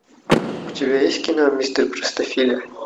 у тебя есть кино мистер простофиля